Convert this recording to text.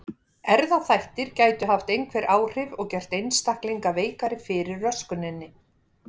Erfðaþættir gætu haft einhver áhrif og gert einstaklinga veikari fyrir röskuninni.